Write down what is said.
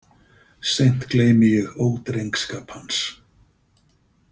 Seint gleymi ég ódrengskap hans.